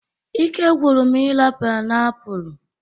Ike gwụrụ m ira painiapulu